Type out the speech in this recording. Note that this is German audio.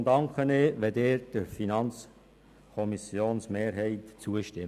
Deshalb danke ich Ihnen, wenn Sie dem FiKoMehrheitsantrag zustimmen.